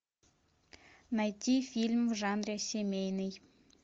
найти фильм в жанре семейный